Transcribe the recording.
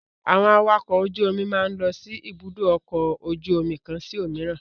Àwọn awakọ̀ ojú-omi máa ń lọ sí Ibùdó-ọkọ̀ ojú-omi kan sí òmíràn.